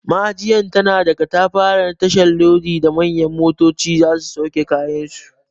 Ma'ajiyar tana da katafaren tashar lodi da manyan motoci za su sauke kayansu.